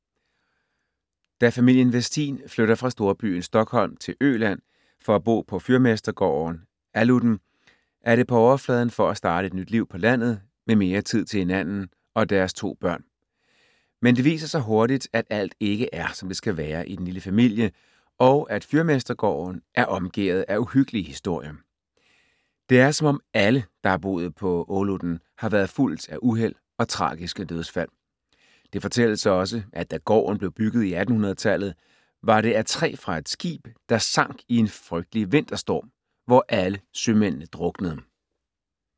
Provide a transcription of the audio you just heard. Da familien Westin flytter fra storbyen Stockholm til Øland, for at bo på fyrmestergården Åludden, er det på overfladen for at starte et nyt liv på landet med mere tid til hinanden og deres to børn. Men det viser sig hurtigt, at alt ikke er som det skal være i den lille familie og at fyrmestergården er omgærdet af uhyggelige historier. Det er som om alle, der har boet på Åludden, har været fulgt af uheld og tragiske dødsfald. Det fortælles også, at da gården blev bygget i 1800-tallet, var det af træ fra et skib, der sank i en frygtelig vinterstorm, hvor alle sømændene druknede.